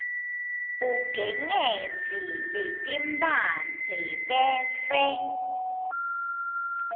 ugengedze letimphandze bese